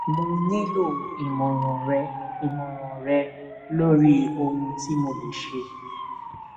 mo nílò ìmọràn rẹ ìmọràn rẹ lórí ohun tí mo lè ṣe